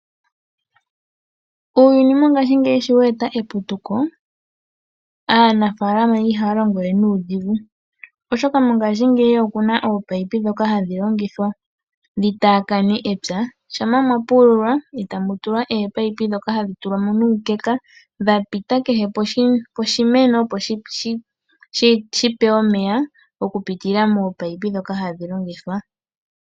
Uuyuni mongaashingeyi sho we eta eputuko, aanafaalama ihaya longo we nuudhigu oshoka mongaashingeyi oku na oopaipi ndhoka hadhi longithwa dhi taakane epya. Shampa mwa pululwa, mo e ta mu tulwa oopaipi ndhoka hadhi tulwa mo nuukeka dha pita kehe poshimeno, opo shi pewe omeya okupitila moopaipi ndhoka hadhi longithwa.